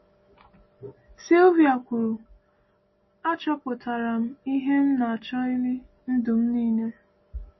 Silvia kwuru: “Achọpụtara m ihe m na-achọghịla ndụ m niile.”